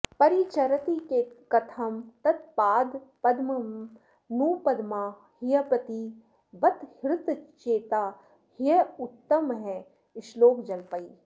परिचरति कथं तत्पादपद्मं नु पद्मा ह्यपि बत हृतचेता ह्युत्तमःश्लोकजल्पैः